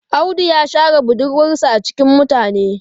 Audu ya share budurwarsa a cikin mutane.